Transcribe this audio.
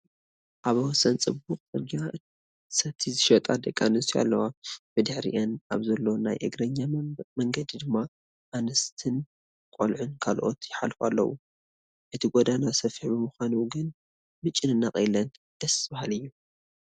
ኣብ ወሰን ፅቡቕ ፅርጊያ ሰቲ ዝሸጣ ደቂ ኣንስትዮ ኣለዋ፡፡ ብድሕሪአን ኣብ ዘሎ ናይ እግረኛ መንገዲ ድማ ኣንስትን ቆልዕትን ካልኦትን ይሓልፉ ኣለዉ፡፡ እቲ ጐደና ሰፊሕ ብምዃኑ ግን ምጭንናቕ የለን፡፡ ደስ በሃሊ እዩ፡፡